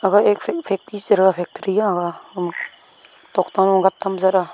ag ek fact factory tokta am gat tam jara.